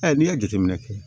Ayi n'i y'a jateminɛ kɛ